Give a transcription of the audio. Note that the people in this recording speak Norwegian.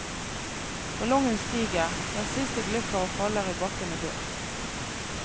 Ballongen stiger, den siste glipper og faller i bakken og dør.